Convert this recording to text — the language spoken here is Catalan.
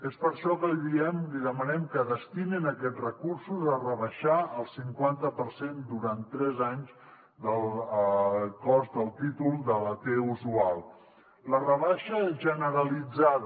és per això que li diem li demanem que destinin aquests recursos a rebaixar el cinquanta per cent durant tres anys del cost del títol de la t usual la rebaixa generalitzada